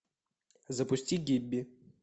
запусти гибби